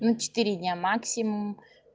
на четыре дня максимум